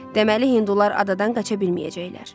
Deməli hindular adadan qaça bilməyəcəklər.